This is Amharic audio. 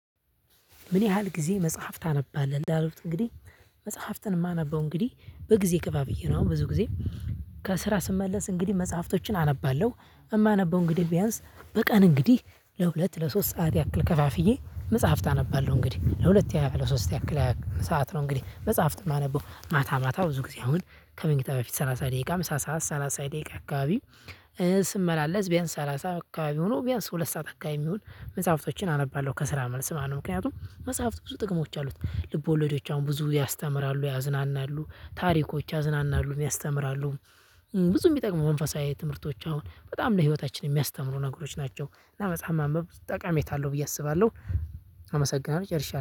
ምን ያህል ጊዜ መጽሐፍ ታነባለህ? እንዳሉት እንግዲህ መጽሐፍትን የማነበው እንግዲህ በጊዜ ከፉፍዬ ነው። ብዙ ጊዜ ከስራ ስመለስ እንግዲህ መጽሐፍቶችን አነባለሁ። የማነበው እንግዲህ ቢያንስ በቀን እንግዲህ ለሁለት ለሶስት ሰዓት ያክል ከፋፍዬ መጽሐፍት አነባለሁ እንግዲህ ለሁለት ያክል ለሶስት ያክል ሰዓት ነው። እንግዲህ መጽሐፍት የማነበው ማታ ማታ ብዙ ጊዜ አሁን ከመኝታ በፊት ሰላሳ ደቂቃ ምሳ ሰዓት ሰላሳ ደቂቃ አካባቢ ስመላለስ ቢያንስ ሰላሳ አካባቢ ሆኖ ቢያንስ ሁለት ሰዓት አካባቢ የሚሆን መጽሐፍቶችን አነባለሁ ከስራ መልስ ማለት ነው። ምክንያቱም መጽሐፍት ብዙ ጥቅሞች አሉት ልቦለዶች አሁን ብዙ ያስተምራሉ ያዝናናሉ ታሪኮች ያዝናናሉ ያስተምራሉ። ብዙ የሚጠቅሙ መንፈሳዊ ትምህርቶች አሁን በጣም ለህይወታችን የሚያስተምሩ ነገሮች ናቸው። እና በጣም ማንበብ ጠቀሜታ አለው ብዬ አስባለሁ። አመሰግናለሁ ጨርሻለሁ